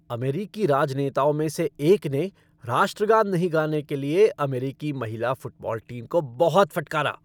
अमेरिकी राजनेताओं में से एक ने राष्ट्रगान नहीं गाने के लिए अमेरिकी महिला फ़ुटबॉल टीम को बहुत फटकारा।